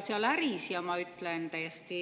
See on äri, ja ma ütlen täiesti